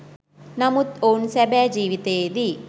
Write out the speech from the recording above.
නමුත් ඔවුන් සැබෑ ජීවිතයේදී